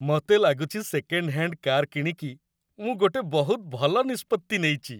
ମତେ ଲାଗୁଚି second hand car କିଣିକି ମୁଁ ଗୋଟେ ବହୁତ ଭଲ ନିଷ୍ପତ୍ତି ନେଇଚି ।